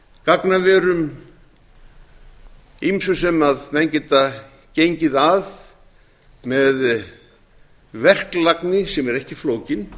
gagnaverum ýmsu sem menn geta gengið að með verklagni sem er ekki flókin